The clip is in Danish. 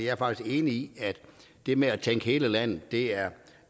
er faktisk enig i at det med at tænke hele landet med det er